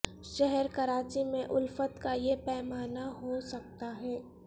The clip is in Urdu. شہر کراچی میں الفت کا یہ پیما نہ ہو سکتا ہے